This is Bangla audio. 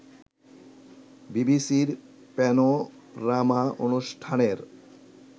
বিবিসির প্যানোরামা অনুষ্ঠানের